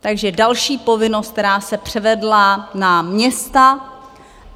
Takže další povinnost, která se převedla na města.